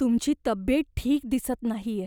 तुमची तब्येत ठीक दिसत नाहीये